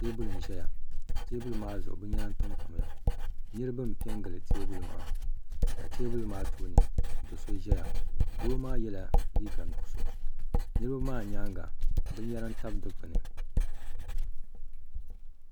Teebuli n ʒɛua teebuliaa zuɣu bin yɛra n tamtamya niribi n pɛ n gili teebuli maa ka teebuli maa tooni ka do sɔ ʒɛya dooaa yɛla liiga nuɣuso niri bɛaa nyaanŋa bin yɛra n tam dukpuni